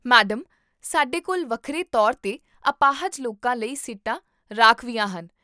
madam, ਸਾਡੇ ਕੋਲ ਵੱਖਰੇ ਤੌਰ 'ਤੇ ਅਪਾਹਜ ਲੋਕਾਂ ਲਈ ਸੀਟਾਂ ਰਾਖਵੀਆਂ ਹਨ